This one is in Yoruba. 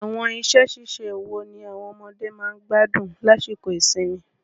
Àwọn iṣẹ́-ṣíṣe wo ni àwọn ọmọdé máa ń gbádùn lásìkò ìsinmi?